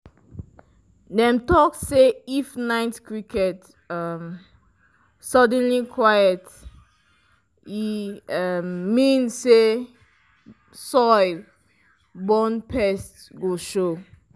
dem talk say if night crickets um suddenly quiet e um mean say soil-borne pests go show.